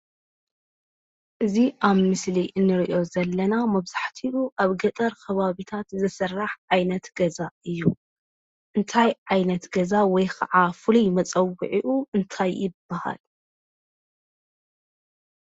እዚ ኣብ ምስሊ እንሪኦ ዘለና መብዛሕቲኡ ኣብ ገጠር ኸባቢታት ዝስራሕ ዓይነት ገዛ እዩ ።እንታይ ዓይነት ገዛ ወይ ኻዓ ፍሉይ መፀዊዕኡ እንታይ ይባሃል።